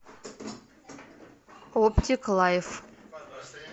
оптик лайф